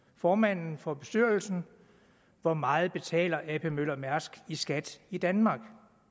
formanden for bestyrelsen hvor meget betaler ap møller mærsk i skat i danmark